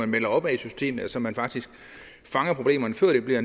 melder opad i systemet så man faktisk fanger problemerne før det bliver